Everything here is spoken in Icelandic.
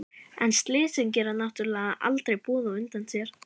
En slysin gera náttúrlega aldrei boð á undan sér.